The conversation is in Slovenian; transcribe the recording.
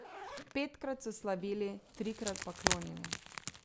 Petkrat so slavili, trikrat pa klonili.